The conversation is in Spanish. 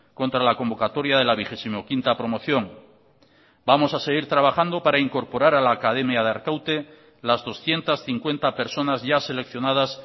contra la convocatoria de la vigesimoquinta promoción vamos a seguir trabajando para incorporar a la academia de arkaute las doscientos cincuenta personas ya seleccionadas